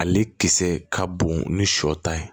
Ale kisɛ ka bon ni sɔ ta ye